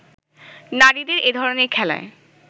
নারীদের এধরনের খেলায়